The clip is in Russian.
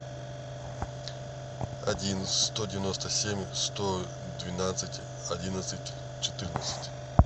один сто девяносто семь сто двенадцать одиннадцать четырнадцать